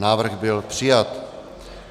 Návrh byl přijat.